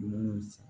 Dumuniw san